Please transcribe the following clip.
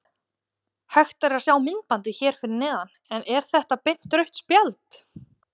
Hægt er að sjá myndbandið hér fyrir neðan en er þetta beint rautt spjald?